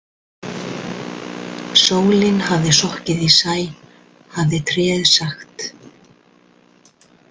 Sólin hafði sokkið í sæ hafði tréið sagt.